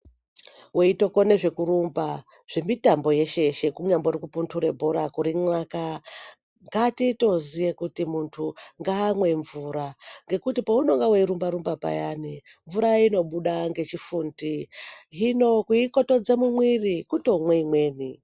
Weitokone zvekurumba zvemitambo yeshe yeshe kunyambori kupuntura bhora kurinxaka ngatitoziye kuti muntu ngaamwe mvura ngekuti pounonga weirumbarumba payani mvura inobuda ngechifundi ,hino kuikotodza mumwiri kutomwe imweni.